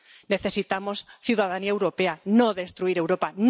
Necesitamos ciudadanía europea, no destruir Europa.